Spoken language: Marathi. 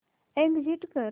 एग्झिट कर